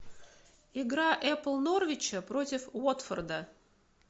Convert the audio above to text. игра эпл норвича против уотфорда